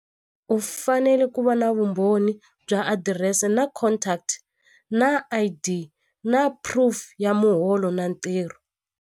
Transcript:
U fanele ku va na vumbhoni bya adirese na contact na I_D na proof ya muholo na ntirho.